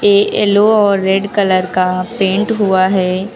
ये येलो और red colour का पेंट हुआ है।